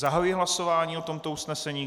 Zahajuji hlasování o tomto usnesení.